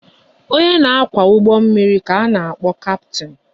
Onye na kwá ụgbọ mmiri ka a na-akpọ Kaptin